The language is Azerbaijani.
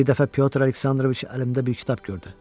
Bir dəfə Pyotr Aleksandroviç əlimdə bir kitab gördü.